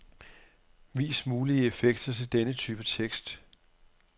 Vis mulige effekter til denne type tekst.